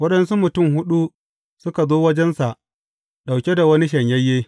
Waɗansu mutum huɗu suka zo wajensa ɗauke da wani shanyayye.